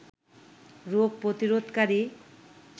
রোগ প্রতিরোধকারী